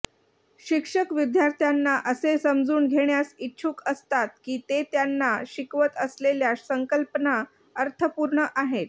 शिक्षक विद्यार्थ्यांना असे समजून घेण्यास इच्छुक असतात की ते त्यांना शिकवत असलेल्या संकल्पना अर्थपूर्ण आहेत